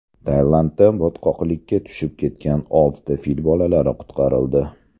Tailandda botqoqlikka tushib ketgan oltita fil bolalari qutqarildi .